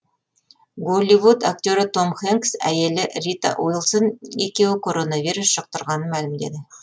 голливуд актері том хэнкс әйелі рита уилсон екеуі коронавирус жұқтырғанын мәлімдеді